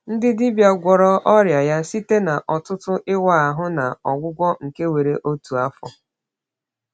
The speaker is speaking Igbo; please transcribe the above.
Ndị dibịa gwọrọ ọrịa ya site n’ọtụtụ ịwa ahụ na ọgwụgwọ nke were otu afọ.